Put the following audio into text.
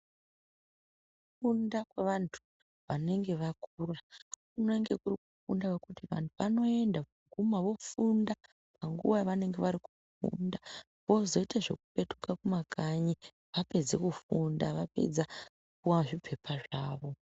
Kufunda kwevantu vanenge vakura kunenge kuri kufunda kwekuti vanhu vanoenda voguma vofunda panguwa yavanenge vari kufundawozoite zvekupetuke kumakanyi vapedze kufunda vapedza kupuwa zvipepa zvawo.